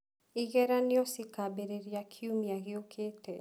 Igeranio cikambĩrĩria kiumia gĩũkĩte.